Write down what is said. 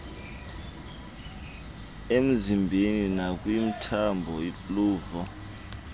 emzimbeni nakwimithambo luvo